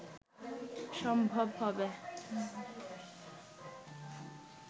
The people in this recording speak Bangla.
সম্ভব হবে